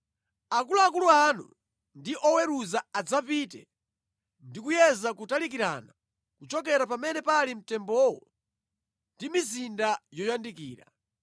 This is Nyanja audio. akuluakulu anu ndi oweruza adzapite ndi kuyeza kutalikirana kuchokera pamene pali mtembowo ndi mizinda yoyandikira.